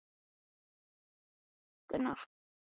Lára Ómarsdóttir: Hvers vegna núna viku fyrir kosningar?